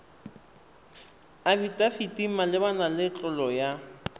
afidafiti malebana le tlolo ya